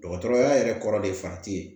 Dɔgɔtɔrɔya yɛrɛ kɔrɔ de fan te yen